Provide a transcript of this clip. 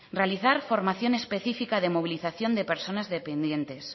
realizar formaciones especifica de movilización de personas dependientes